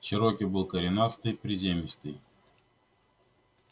чероки был коренастый приземистый